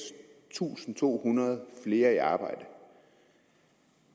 tusind to hundrede flere i arbejde